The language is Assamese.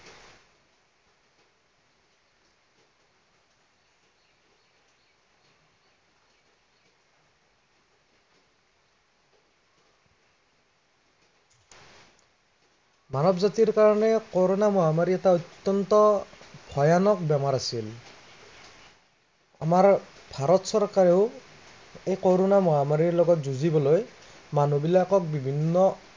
মানৱ জাতিৰ কাৰণে কৰোণা মহামাৰী এটা অত্য়ন্ত, ভয়ানক বেমাৰ আছিল। আমাৰ ভাৰত চৰকাৰেও, এই কৰোণা মাহমাৰীৰ লগত যুঁজিবলৈ, মানুহবিলাকক বিভিন্ন